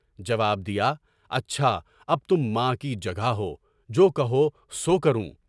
جواب دیا، اچھا اب تم ماں کی جگہ ہو، جو کہو سو کروں۔